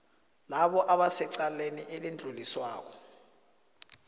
labo abasecaleni elidluliswako